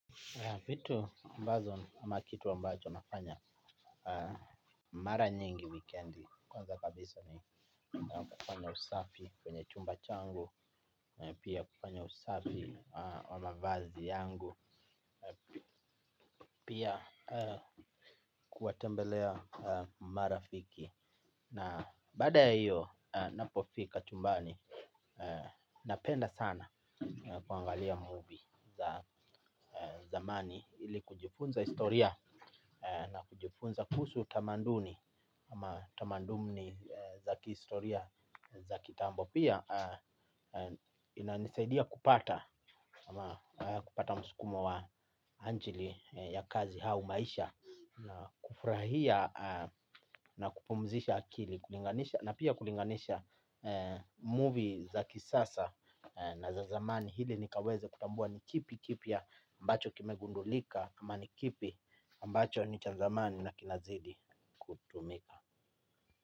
Vitu ambazo ama kitu ambacho nafanya mara nyingi wikendi, kwanza kabisa ni kufanya usafi kwenye chumba changu, pia kufanya usafi wa mavazi yangu, pia kuwatembelea marafiki. Na baada ya hiyo, ninapofika chumbani napenda sana kuangalia 'movie' za zamani ili kujifunza historia na kujifunza kuhusu utamaduni. Ama tamanduni za kihistoria za kitambo. Pia inanisaidia kupata ama kupata msukumo wa ajili ya kazi au maisha. Kufurahia na kupumzisha akili na pia kulinganisha 'movie' za kisasa na za zamani ili nikaweze kutambua ni kipi kipya ambacho kimegundulika ama ni kipi ambacho ni cha zamani na kinazidi kutumika.